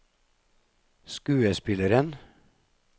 skuespilleren